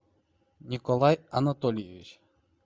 николай анатольевич